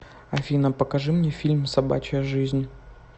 афина покажи мне фильм собачья жизнь